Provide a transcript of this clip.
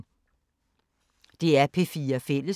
DR P4 Fælles